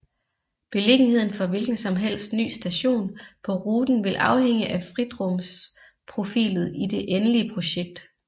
Beliggenheden for hvilken som helst ny station på ruten vil afhænge af fritrumsprofilet i det endelige projekt